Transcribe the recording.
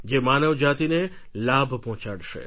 જે માનવ જાતિને લાભ પહોંચાડશે